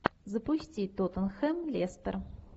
запусти тоттенхэм лестер